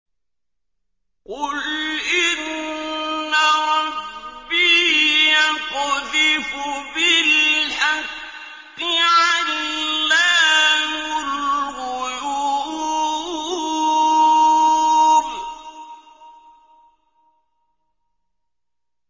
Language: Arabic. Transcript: قُلْ إِنَّ رَبِّي يَقْذِفُ بِالْحَقِّ عَلَّامُ الْغُيُوبِ